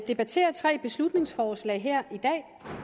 debattere tre beslutningsforslag her i dag